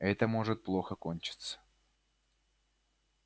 это может плохо кончиться